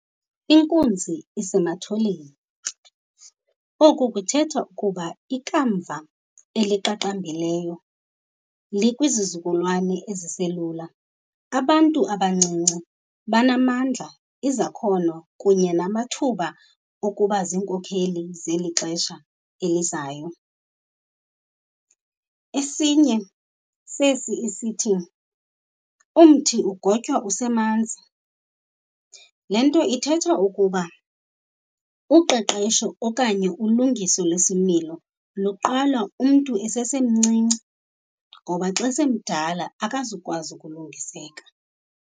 Inkunzi isematholeni. Oku kuthetha ukuba ikamva eliqaqambileyo likwizizukulwane eziselula. Abantu abancinci banamandla, izakhono kunye namathuba okuba ziinkokheli zeli xesha elizayo. Esinye sesi isithi, umthi ugotywa usemanzini. Le nto ithetha ukuba uqeqesho okanye ulungiso lesimilo luqala umntu esemncinci ngoba xa semdala, akazukwazi ukulungiseka.